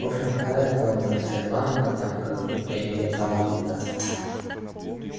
в общем какая там уже шри-ланка там как будто и не летал никуда